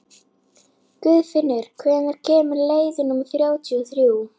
Guðfinnur, hvenær kemur leið númer þrjátíu og þrjú?